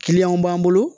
b'an bolo